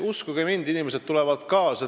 Uskuge mind, inimesed tulevad kaasa.